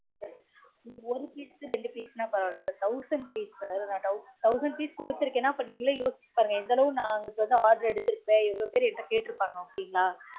ஒரு piece ரெண்டு piece நா பரவாயில்ல sir thousand piece sir நான் thous thousand piece கொடுத்துருக்கேனா நீங்கலே யொசிச்சு பாருங்க எந்த அளவு நான் உங்களுக்கு order எடுத்திருப்பே எவ்வளோ பேர் என்கிட்ட கேட்டு இருப்பாங்க okay ங்களா